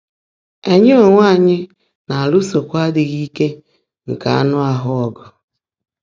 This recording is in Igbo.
Ányị́ óńwé ányị́ ná-àlụ́sọ́kwá ádị́ghị́ íke nkè áńụ́ áhụ́ ọ́gụ́.